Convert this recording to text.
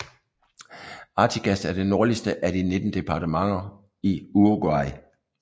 Artigas er det nordligste af de 19 departementer i Uruguay